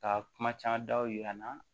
Ka kuma caman daw yira an na